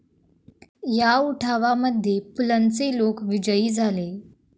या उठावा मध्ये पुलंचे लोक विजयी झाले